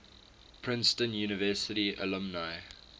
princeton university alumni